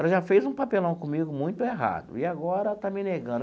Ela já fez um papelão comigo muito errado e agora está me negando.